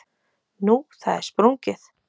Nú, það er sprungið.